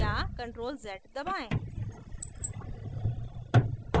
या ctrl + z दबाएं